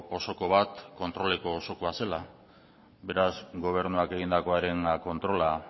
osoko bat kontroleko osokoa zela beraz gobernuak egindakoaren kontrola